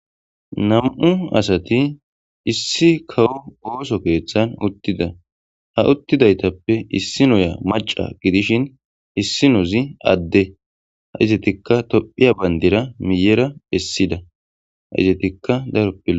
Nam77u asati issi kawo ooso keeththan uttida ha uttidaytappe issinoya macca gidishin issinozi adde izetikka tophiya bandira miyera essida.